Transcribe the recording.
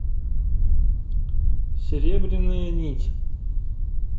серебряная нить